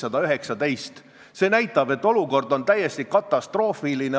Eelnõu algatajate esindajana ma siiski loodan, et kultuurikomisjon on nõus seda teemat päevakorral hoidma.